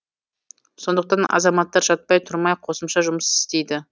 сондықтан азаматтар жатпай тұрмай қосымша жұмыс істейді